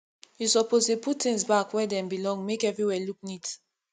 you suppose dey put tins back where dem belong make everywhere look neat